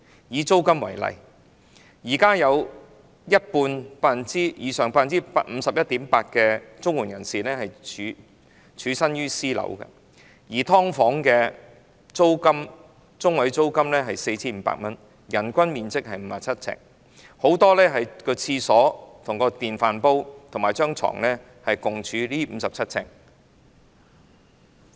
以租金為例，現時有一半以上的領取綜援人士居於私樓，而"劏房"的租金中位數是 4,500 元，人均面積只有57平方呎，很多"劏房戶"的廁所、電飯煲及床全部均處於這57平方呎內。